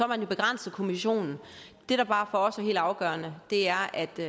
man jo begrænset kommissionen det der bare for os er helt afgørende er at det